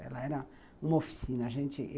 Ela era uma oficina. A gente